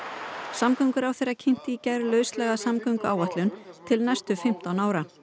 samgönguráðherra kynnti í gær lauslega samgönguáætlun til næstu fimmtán ára